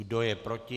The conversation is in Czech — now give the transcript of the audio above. Kdo je proti?